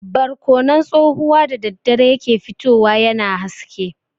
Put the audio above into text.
Barkonon tsohuwa da daddare ya ke fitowa yana haske.